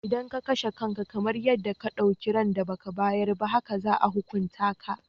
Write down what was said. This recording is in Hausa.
Idan ka kashe kanka, kamar yadda ka ɗauki ran da ba ka bayar ba haka za a hukunta ka.